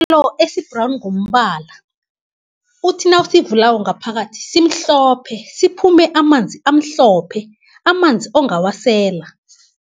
esibhrawni ngombala uthi nawusivulako ngaphakathi simhlophe, siphume amanzi amhlophe, amanzi ongawasela.